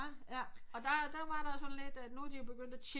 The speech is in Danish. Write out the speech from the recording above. Og der var der sådan lidt at nu er de jo begyndt at chippe